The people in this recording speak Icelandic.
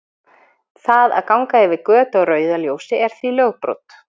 Það að ganga yfir götu á rauðu ljósi er því lögbrot.